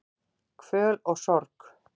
Kvöl og sorg